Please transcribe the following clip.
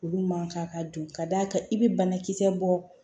Olu man kan ka dun ka d'a kan i bɛ banakisɛ bɔ